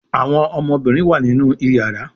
Àwọn ọmọbinrin wá nínú iyàrá.